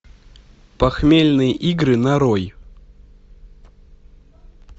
похмельные игры нарой